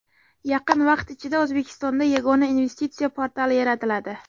Yaqin vaqt ichida O‘zbekistonda Yagona investitsiya portali yaratiladi.